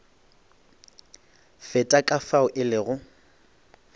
feta ka fao e lego